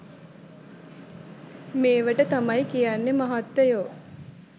මේවට තමයි කියන්නෙ මහත්තයො